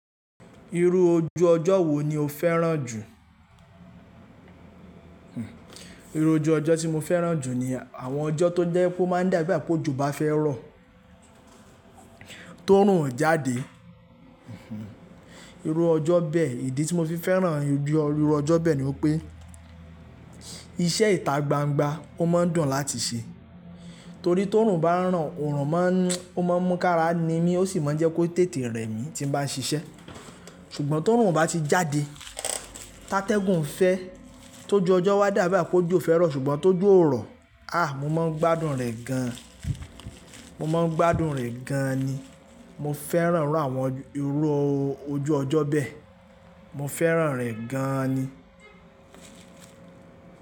Irú ojú ọjọ́ wo ni o fẹ́ràn jù? Irú ojú ọjọ́ tí mo fẹ́ràn jù ni àwọn ọjọ́ tó jẹ́ pé ó máa ń dà igbá pó ojo bá fẹ́ rọ̀, tó oorùn o jáde. Irú ọjọ́ bẹ́ẹ̀, ìdí tí mo fi fẹ́ràn irú ọjọ́ bẹ́ẹ̀ ni wipé iṣẹ́ ìta gbangba ó máa dùn láti ṣe. Torí tí òorùn bá ń ràn, òrùn máa ń mú ká ra ni mí ó sì máa ń jẹ́ kó tètè rẹ mí tí n bá ṣiṣẹ́. Ṣùgbọ́n tí òorùn o bá ti jáde, ti atégùn fẹ́, tó ju ọjọ́ wa dà bi igbá pó ojo fẹ́ rọ̀, ṣùgbọ́n tó ojo ò rọ̀, a! Mo máa ń gbádùn rẹ̀ gan. Mo máa ń gbádùn rẹ̀ gan ni. Mo fẹ́ràn irú àwọn irú ojú ọjọ́ bẹ́ẹ̀. Mo fẹ́ràn rẹ̀ gan ni.